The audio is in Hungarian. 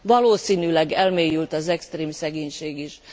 Valószínűleg elmélyült az extrém szegénység is.